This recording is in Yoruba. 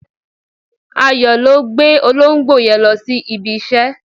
Ayo ló gbé olóńgbò yen lọ si ibi ise